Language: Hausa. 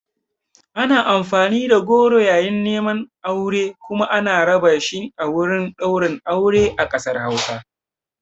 Ana amfani da goro yayin neman aure kuma ana raba shi a wurin ɗaurin aure a ƙasar Hausa.